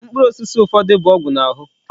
Mkpụrụ osisi ụfọdụ bụ ọgwụ na-ahụ.